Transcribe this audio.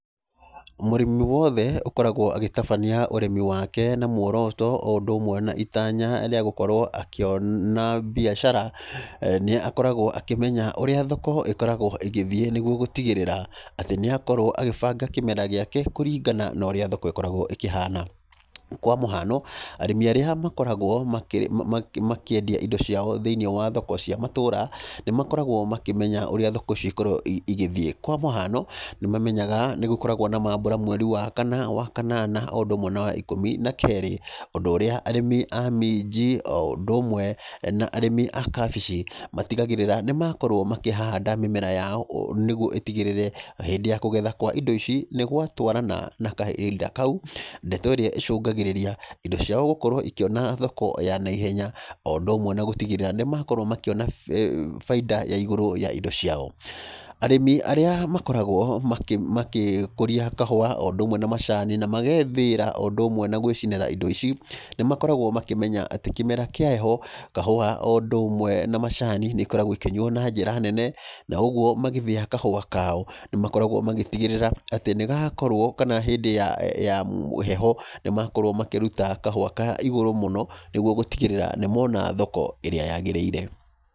Mũrĩmi wothe ũkoragwo agĩtabania ũrĩmi wake na muoroto o ũndũ ũmwe na itanya rĩa gũkorwo akĩona biacara, nĩ akoragwo akĩmenya ũrĩa thoko ĩkoragwo ĩgĩthiĩ nĩguo gũtigĩrĩra, atĩ nĩ akorwo agĩbanga kĩmera gĩake kũringana na ũrĩa thoko ĩkoragwo ĩkĩhana. Kwa mũhano, arĩmi arĩa makoragwo makĩendia indo ciao thĩiniĩ wa thoko cia matũũra, nĩ makoragwo makĩmenya ũrĩa thoko cikoragwo igĩthiĩ. Kwa mũhano, nĩ mamenyaga nĩ gũkoragwo na maambura mweri wa kana, wa kanana, o ũndũ ũmwe na wa ikũmi na keerĩ. Ũndũ ũrĩa arĩmi a minji, o ũndũ ũmwe na arĩmi a kabici, matigagĩrĩra nĩ makorwo makĩhanda mĩmera yao nĩguo ĩtigĩrĩre hĩndĩ ya kũgetha kwa indo ici nĩ gwatarana na kahinda kau. Ndeto ĩrĩa ĩcũngagĩrĩria indo ciao gũkorwo ikĩona thoko ya naihenya. O ũndũ ũmwe na gũtigĩrĩra nĩ makorwo makĩona baida ya igũrũ ya indo ciao. Arĩmi arĩa makoragwo makĩkũria kahũa, o ũndũ ũmwe na macani, na magethĩĩra, o ũndũ ũmwe na gwĩcinĩra indo ici, nĩ makoragwo makĩmenya atĩ, kĩmera kĩa heho, kahũa o ũndũ ũmwe na macani nĩ ikoragwo ikĩnyuo na njĩra nene, na ũguo magĩthĩa kahũa kao, nĩ makoragwo magĩtigĩrĩra atĩ, nĩ gakorwo kana hĩndĩ ya heho, nĩ makorwo makĩruta kahũa ka igũrũ mũno, nĩguo gũtigĩrĩra nĩ mona thoko ĩrĩa yagĩrĩire.